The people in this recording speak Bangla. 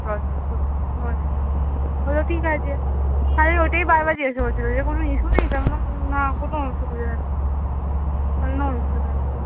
বললো ঠিক আছে খালি ওটাই বার বার জিজ্ঞাসা করছিলো যে কোনো issue নেই তো আমি বললাম, না কোনো issue